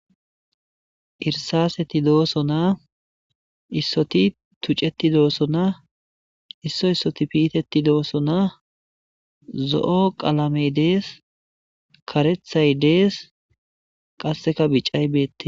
irsaseti dooso, naa issoti tucceti dooso, na isso issoti piiteti doosso naa, zo'o qalamey dees,karethay dees, qasseka bicay beettes.